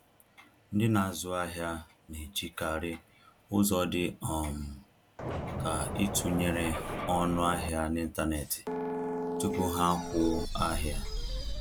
Ndị na-azụ ahịa na-ejikarị ụzọ dị um ka ịtụnyere ọnụ ahịa n’ịntanetị tupu ha akwụ ahịa